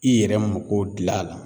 I yɛrɛ mago dilan a la